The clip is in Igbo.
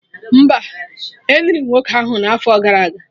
Mba, Eniri nwoke ahụ n'afọ gara aga